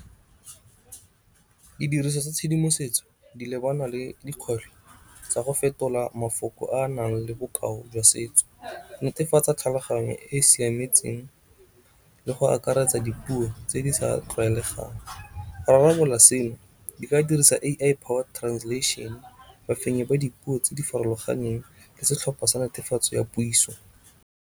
Didiriswa tsa tshedimosetso di lebana le dikgwetlho tsa go fetola mafoko a nang le bokao jwa setso. Netefatsa tlhaloganyo e e siametseng le go akaretsa dipuo tse di sa tlwaelegang. Go rarabolola seno di ka dirisa A_I translation. Bafenyi ba dipuo tse di farologaneng ke setlhopha sa netefatso ya puiso.